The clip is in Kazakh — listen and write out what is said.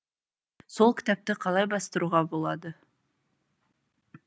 сол кітапты қалай бастыруға болады